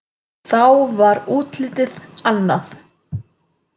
Þá var útlitið annað.